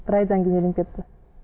бір айдан кейін үйленіп кетті